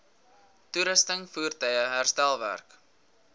toerusting voertuie herstelwerk